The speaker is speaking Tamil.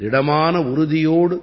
திடமான உறுதியோடு